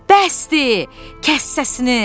Bəsdir, kəs səsini!